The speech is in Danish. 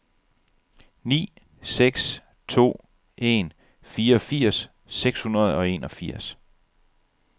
ni seks to en fireogfirs seks hundrede og enogfirs